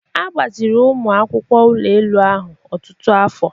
A gbaziri ụmụ akwụkwọ ụlọ elu ahụ ọtụtụ afọ.